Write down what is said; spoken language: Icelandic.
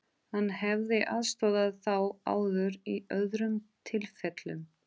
Hann hefði aðstoðað þá áður í öðrum tilfellum.